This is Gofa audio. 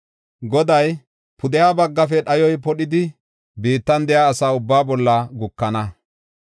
Goday, “Pudeha baggafe dhayoy podhidi, biittan de7iya asa ubbaa bolla gukana.